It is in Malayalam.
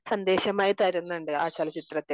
സന്ദേശം ആയി തരുന്നുണ്ട് ആ ചലച്ചിത്രത്തിൽ